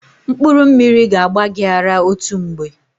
Mkpụrụ mmiri ga-agba gị ara otu mgbe.